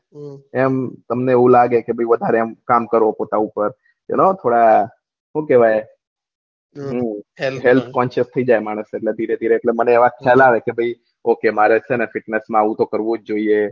એમ તમને એવું લાગે કે ભાઈ વધારે એમ કામ કરવો પતાવું પેલા હું કેહવાય હેલ્થ ની જેમ એટલે મને ખયાલ આવે કે ભાઈ ઓકે મારે છે ને ફિટનેસ માં આવું કરવું જ જોયીયે